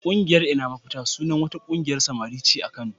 Ƙungiyar "Ina Mafita" sunan wata ƙungiyar samari ce a Kano.